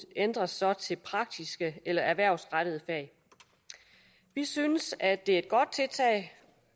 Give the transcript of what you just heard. ændres så til praktiske eller erhvervsrettede fag vi synes at det